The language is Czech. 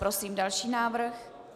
Prosím další návrh.